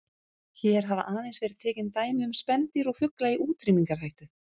Hér hafa aðeins verið tekin dæmi um spendýr og fugla í útrýmingarhættu.